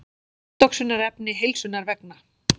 Andoxunarefni heilsunnar vegna.